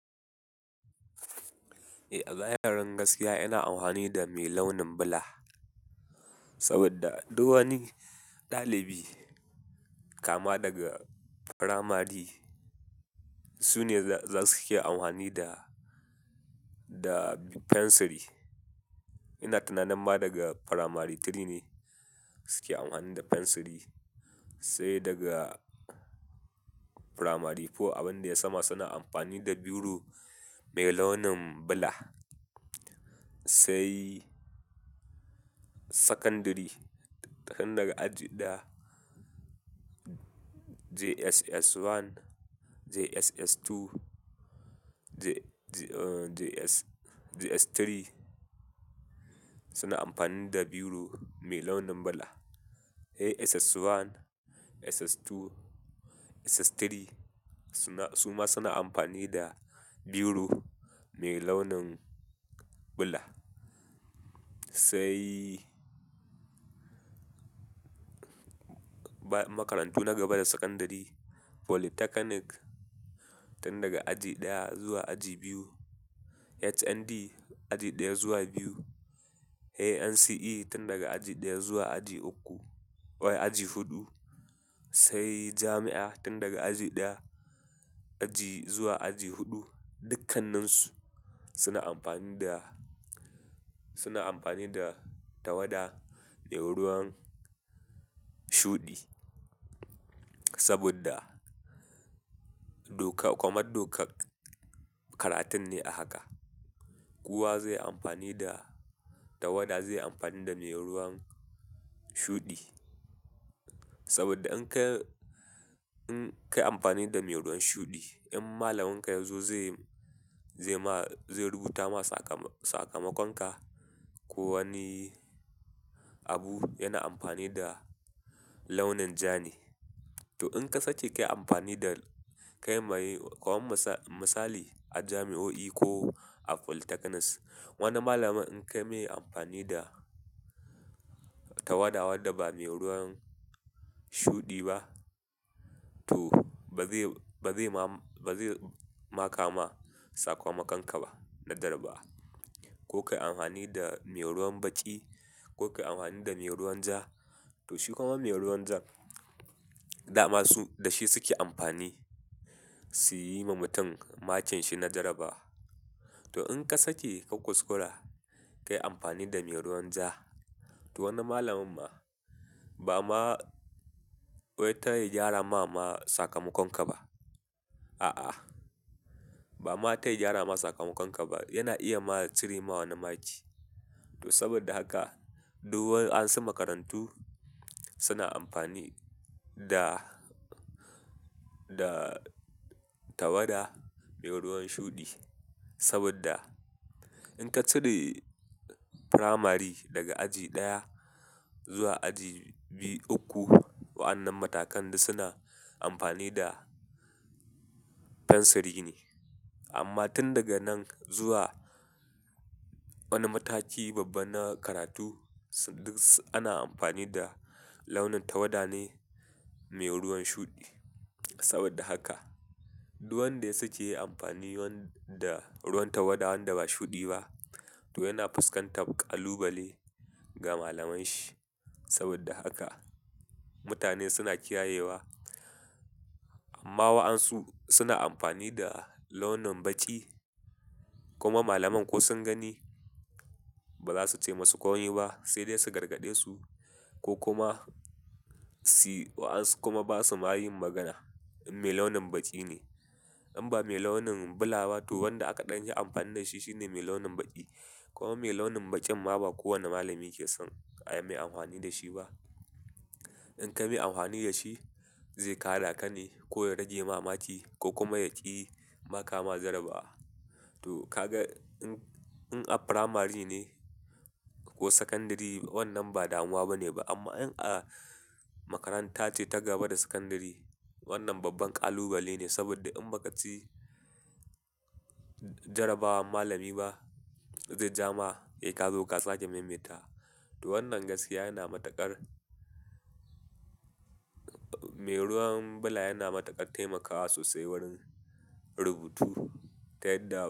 Eh, a zahirin gaskiya ina amfani da mai launin bula. Sabida duk wani ɗalibi kama daga firamari sune suke amfani da, da fensiri. Ina tunanin ma daga Primary Three ne suke amfani da fensiri, sai daga Primary Four abin da yai sama suna amfani da biro mai launin bula. Sai sakandare, tun daga aji ɗaya, JSS 1, JSS 2, JS, JS 3 suna amfani da biro mai launin bula. Eh, SS 1, SS 2, SS 3 suna, suma suna amfani da biro mai launin bula. Sai makarantu na gaba da sakandare, polytechnic tun daga aji ɗaya zuwa aji biyu, HND aji ɗaya zuwa biyu, eh, NCE tun daga aji ɗaya zuwa aji uku, wai aji huɗu, sai jami'a tun daga aji ɗaya, aji zuwa aji huɗu, dukkaninsu suna amfani da, suna amfani da tawada mai ruwan shuɗi. Sabida doka, kamar dokar karatun ne a haka. Kowa zai yi amfani da tawada, zai yi amfani da mai ruwan shuɗi. Saboda in ka yi, in ka yi amfani da mai ruwan shuɗi, in malaminka yazo zai, zai ma, zai rubuta ma sakamakon ka ko wani abu yana amfani da launin ja ne. To in ka sake kayi amfani da, kayi ma yi, komar misali a jami'o'i ko a polytechnics, wani malamin in kayi mai amfani da tawada wadda ba mai ruwan shuɗi ba to ba zai, ba zai ma, ba zai maka ma sakamakon ka ba na jarrabawa. Ko kayii amfani da mai ruwan baƙi ko kayi amfani da mai ruwan ja, to shi kuma mai ruwan ja dama su da shi suke amfani su yi ma mutum makin shi na jarrabawa. To in ka sake ka kuskura kayi amfani da mai ruwan ja, to wannan malamin ma ba ma, wai ta ya gyara ma sakamakon ka ba. A'a, ba ma ta ya gyara ma sakamakon ka ba. Yana iya ma ya cire ma wani maki. To sabida haka duk ansan makarantu suna amfani da, da tawada mai ruwan shuɗi. Sabida in ka cire Firamare daga aji ɗaya zuwa aji biyu, uku, wa'annan matakan duk suna amfani da fensiri ne. Amma tun daga nan zuwa wani mataki babba na karatu duk ana amfani da launin tawada ne mai ruwan shuɗi. Saboda haka duk wanda ya sake yayi amfani da ruwan tawada wanda ba shuɗi ba to yana fuskantar ƙalubale ga malamanshi. Sabida haka mutane suna kiyayewa amma wa'ansu suna amfani da launin baƙi kuma malamai ko sun gani ba za su ce musu komai ba sai dai su gargaɗe su ko kuma, wa'ansu kuma ba su ma yin magana in mai launin baƙi ne. In ba mai launin bula ba to wanda aka ɗanfi amfani da shi shine mai launin baƙi. Kuma mai launin baƙin ma ba kowane malami ke son ai mai amfani da shi ba. In ka mai amfani da shi zai kada ka ne ko ya rage ma maki ko kuma ya ƙi maka ma jarrabawa. To ka ga in, in a Firamare ne ko sakandare wannan ba damuwa ba ne ba amma in a makaranta ce ta gaba da sakandare wannan babban ƙalubale ne sabida in ba ka ci jarrabawar malami ba zai ja ma sai kazo ka sake maimaitawa. To wannan gaskiya yana matuƙar, mai ruwan bula yana matuƙar taimakawa sosai wurin rubutu ta yadda.